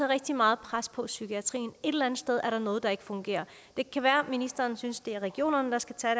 rigtig meget pres på psykiatrien et eller andet sted er der noget der ikke fungerer det kan være ministeren synes det er regionerne der skal tage